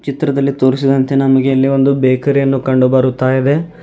ಚಿತ್ರದಲ್ಲಿ ತೋರಿಸಿದಂತೆ ನಮಗೆ ಇಲ್ಲಿ ಒಂದು ಬೇಕರಿ ಯನ್ನು ಕಂಡು ಬರುತ್ತಾ ಇವೆ.